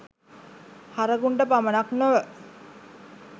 හරකුන්ට පමණක් නොව